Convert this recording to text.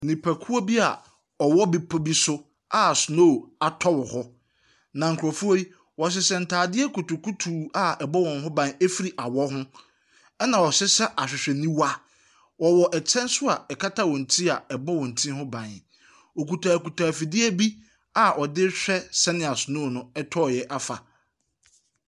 Nnipakuo bia ɔwɔ bepɔ bi so a snow atɔ wɔ hɔ, na nkorɔfoɔ yi ɔhehyɛ ntaadeɛ kutukutuu a ɛbɔ wɔn ho ban efiri awɔ ho ɛna ɔhyehyɛ ahwehwɛniwa. Ɔwɔ ɛkyɛ nso a ɛkata wɔn ti a ɛbɔ wɔn ti ho ban. Ɔkuta kuta ɛfidie bi a ɔdehwɛ sɛneɛ snow no tɔɔ yɛ afa.